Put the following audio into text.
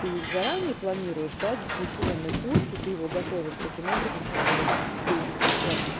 ты заранее планируешь да дистанционные курсы ты его готовишь таким образом что бы он был дистанционным